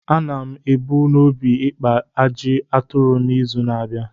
A na m ebu n’obi ikpa ajị aturu n’izu na-abịa.